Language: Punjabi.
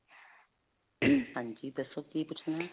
ਹਾਂਜੀ, ਦੱਸੋ ਕੀ ਪੁਛਣਾ ਹੈ?